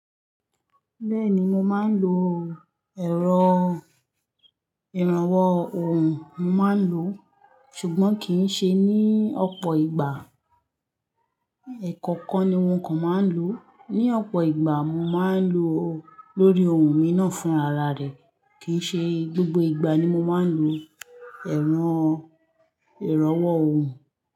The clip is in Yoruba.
Bẹ́ẹ̀ni mo máa ń lo ẹ̀rọ ìrànwọ́ ohùn, mo máa ń lo, ṣùgbọ́n kì í ṣe ní ọ̀pọ̀ ìgbà. Ẹ̀kankan ni mo kan máa ń lò. Ní ọ̀pọ̀ ìgbà mo máa ń lò ó lórí ohun mi náà fún ara rẹ̀. Kì í ṣe gbogbo ìgbà ni mo máa ń lò ẹ̀rọ ìrànwọ́ ohùn.